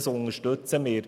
Das unterstützen wir.